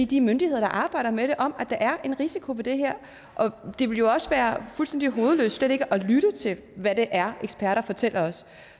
de myndigheder der arbejder med det om at der er en risiko ved det her det ville jo også være fuldstændig hovedløst slet ikke at lytte til hvad det er eksperter fortæller os